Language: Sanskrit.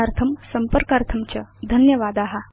दर्शनार्थं संपर्कार्थं च धन्यवादा